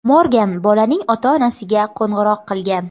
Morgan bolaning ota-onasiga qo‘ng‘iroq qilgan.